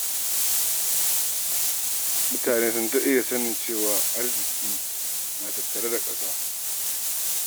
Mutane sun daɗe da sanin cewa arziki na tattare da ƙasa.